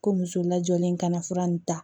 Ko muso lajɔlen ka na fura nin ta